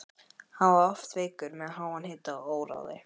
Hann var oft veikur með háan hita og óráði.